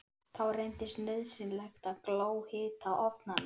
Þá reyndist nauðsynlegt að glóhita ofnana.